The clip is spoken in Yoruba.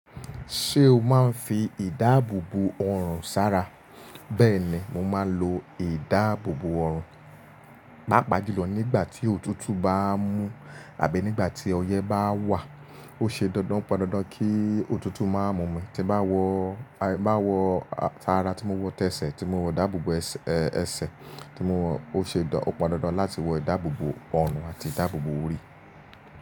Ṣé o máa ń fi ìdáàbòbò ọrùn sara? Bẹ́ẹ̀ni, mo máa ń lo ìdáàbòbò ọrùn. Paapaa julọ̀ nígbà tí òtútù bá mú àbí nígbà tí ọyẹ́ bá wà. Ó ṣe dandan o pon dandan kí òtútù máa mú mi. Tí bá wọ, bá wọ tara tímọ wọ tẹsẹ̀, tímọ wọ dáàbòbò ẹsẹ̀, tímọ wọ ó ṣe dandan podandan láti wọ ìdáàbòbò ọrùn àti ìdáàbòbò orí.